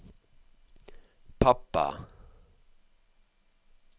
pappa